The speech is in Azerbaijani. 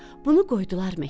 Bunu qoydular məktəbə.